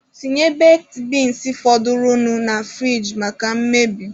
Tinye bekid beans fọdụrụnụ na furige maka mmebi.